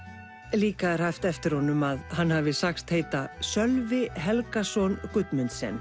líka er haft eftir honum að hann hafi sagst heita Sölvi Helgason